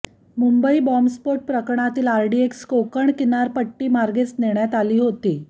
मुंबई बॉम्बस्फोट प्रकरणातील आरडीएक्स कोकण किनारपट्टीमार्गेच नेण्यात आली होती